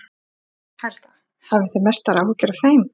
Helga: Hafið þið mestar áhyggjur af þeim?